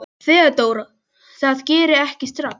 THEODÓRA: Það geri ég ekki strax.